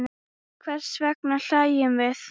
Hvers vegna hlæjum við?